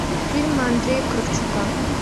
фильм андрея кравчука